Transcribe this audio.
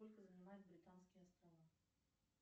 сколько занимают британские острова